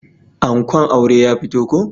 Ankon auren ya fito ko.